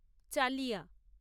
চালিয়া